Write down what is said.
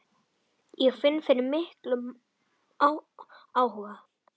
Ég finn fyrir miklum áhuga.